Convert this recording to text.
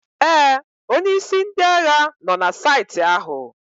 Ee, onye isi ndị agha nọ na saịtị ahụ.